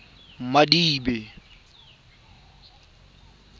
madibe